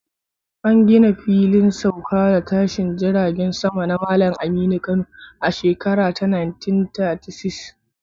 An gina Filin Sauka da Tashin Jiragen Sama na Malam Aminu Kano a shekara ta 1936.